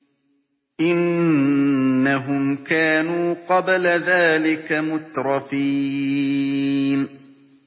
إِنَّهُمْ كَانُوا قَبْلَ ذَٰلِكَ مُتْرَفِينَ